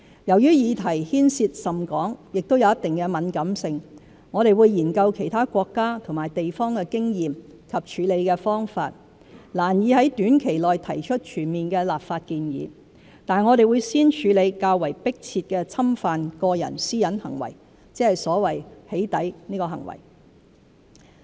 由於議題牽涉甚廣，也有一定的敏感性，我們會研究其他國家和地方的經驗和處理方法，難以在短期內提出全面的立法建議，但我們會先處理較為迫切的侵犯個人私隱行為，即所謂"起底"行為。